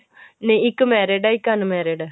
ਨਹੀਂ ਇੱਕ married ਹੈ ਇੱਕ unmarried ਹੈ